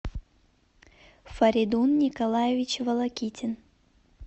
фаридун николаевич волокитин